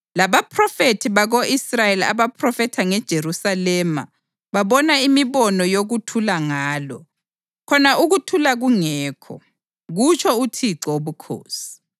labobaphrofethi bako-Israyeli abaphrofetha ngeJerusalema babona imibono yokuthula ngalo, khona ukuthula kungekho, kutsho uThixo Wobukhosi.” ’